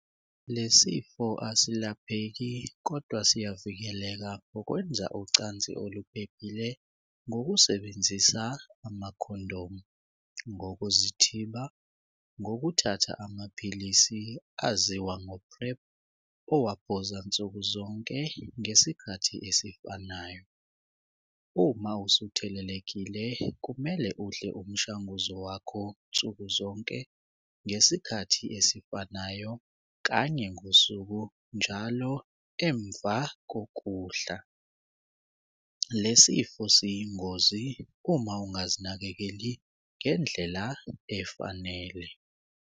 Le sifo asilapheki kodwa siyavikeleka ngokwenza ucansi oluphephile ngokusebenzisa amakhondomu, ngokuzithiba, ngokuthatha amaphilisi aziwa ngoPrep owaphuza nsukuzonke ngesikhathi esifanayo. Uma usuthelelekile kumele udle umshanguzo wakho nsukuzonke ngesikhathi esifanayo kanye ngosuku njalo emva kokudla. Le sifo siyingozi uma ungazinakekeli ngendlela efanele.